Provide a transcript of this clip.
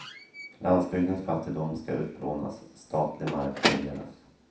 Landsbygdens fattigdom ska utplånas, statlig mark fördelas.